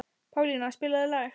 Pálína, spilaðu lag.